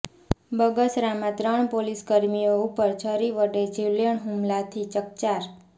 બગસરામાં ત્રણ પોલીસ કર્મીઓ ઉપર છરી વડે જીવલેણ હુમલાથી ચકચાર